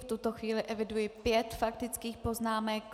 V tuto chvíli eviduji pět faktických poznámek.